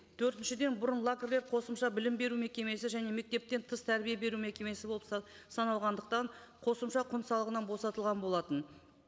төртіншіден бұрын лагерлер қосымша білім беру мекемесі және мектептен тыс тәрбие беру мекемесі болып саналғандықтан қосымша құн салығынан босатылған болатын